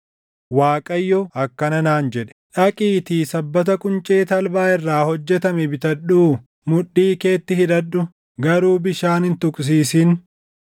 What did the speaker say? Waaqayyo akkana naan jedhe: “Dhaqiitii sabbata quncee talbaa irraa hojjetame bitadhuu mudhii keetti hidhadhu; garuu bishaan hin tuqsiisin.”